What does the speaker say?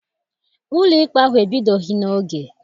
Ụlọikpe ahụ ebidoghị n'oge.